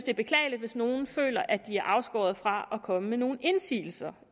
er beklageligt hvis nogen føler at de er afskåret fra at komme med nogle indsigelser